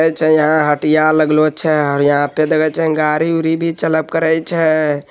ऐ छें यहाँ हटिया लागलो छै और यहाँ पे देखे छै गाड़ी-उडी चलय करय छै।